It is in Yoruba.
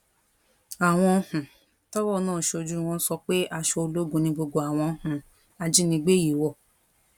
àwọn um tọrọ náà ṣojú wọn sọ pé aṣọ ológun ni gbogbo àwọn um ajínigbé yìí wọ